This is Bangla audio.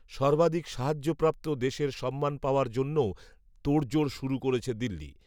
সর্বাধিক সাহায্যপ্রাপ্ত দেশের সম্মান পাওয়ার জন্যও, তোড়জোড় শুরু করেছে দিল্লি